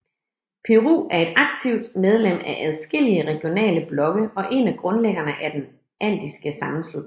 Peru er et aktivt medlem af adskillige regionale blokke og en af grundlæggerne af Den Andiske Sammenslutning